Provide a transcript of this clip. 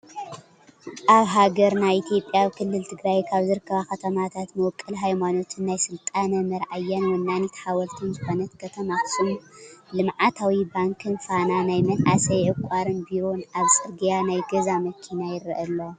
ኣብ ሃገርና ኢትዮጲያ ኣብ ክልል ትግራይ ካብ ዝርከባ ከተማታት መቦቆል ሃይማኖትን ናይ ስልጣነ መር ኣያን ወናኒት ሓወልትን ዝኮነት ከተማ ኣክሱም ልምዓታዊ ባንክን ፋና ናይ መናእሰይ ዕቋርን ቢሮን ኣብ ፅርግያ ናይ ገዛ መኪና ይረአ ኣሎ::